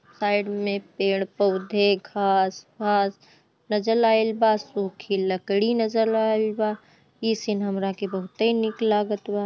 Side में पेड़-पौधे घास-फास नजर आएल बा सुखी लकड़ी नजर आएल बा ई सिन हमरा की बहुत निक लागल बा।